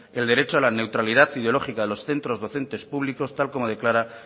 el derecho a la neutralidad ideológica de los centros docentes públicos tal como declara